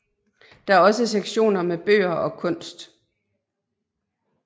Der er også sektioner med bøger og kunst